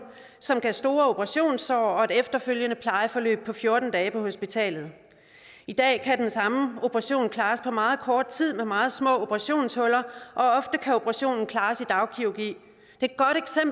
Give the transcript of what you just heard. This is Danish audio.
som gav store operationssår og et efterfølgende plejeforløb på fjorten dage på hospitalet i dag kan den samme operation klares på meget kort tid med meget små operationshuller og ofte kan operationen klares i dagkirurgi